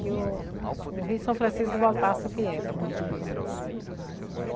Que o o Rio São Francisco voltasse o que era, antes.